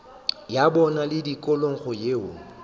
ya bona le tikologo yeo